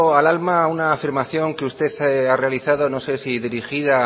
al alma una afirmación que usted ha realizado no sé si dirigida